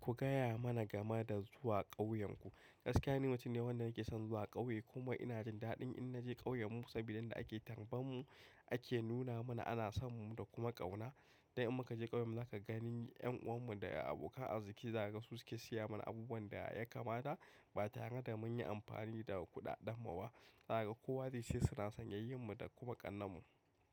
Ku gaya mana game da zuwa ƙauyenku. Gaskiya ni mutum ne wanda nake son zuwa ƙauye kuma inada jin daɗin in naje ƙauyenmu sabida inda ake tarban mu ake nuna mana ana son mu da kuma ƙauna. Dan in muka je ƙauyen mu zaka gani ƴan uwan mu da abokan arziki zakaga su ke siya mana abubuwan da yakamata ba tare da munyi amfani da kuɗaɗen mu ba. Zaka ga kowa dai sai suna son yayyin mu da kuma ƙannen mu.